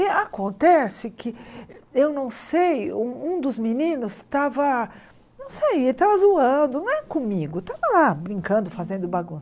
E acontece que, eu não sei, um um dos meninos estava, não sei, estava zoando, não é comigo, estava lá brincando, fazendo bagunça.